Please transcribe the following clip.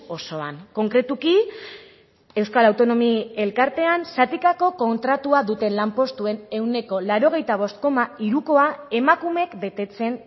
osoan konkretuki euskal autonomi elkartean zatikako kontratua duten lanpostuen ehuneko laurogeita bost koma hirukoa emakumeek betetzen